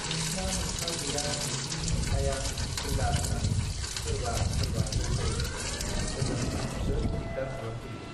नोंस्त्रा नोमफा गैया नोंसिनि नोमफाया फैला होनानै सोरबा सोरबा जंखायोनो ओजों आंखौसो दिगदार खालामफैयो